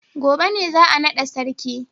gobe ne za a nada sarki.